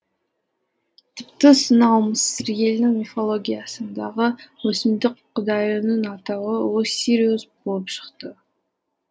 тіпті сонау мысыр елінің мифологиясындағы өсімдік құдайының атауы оссириус болып шықты